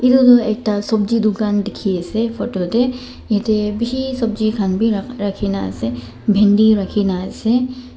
eteydu ekta sobji dukan dikhi ase photo tey yetey bishi sobji khan bi rakhina ase bindi rakhina ase.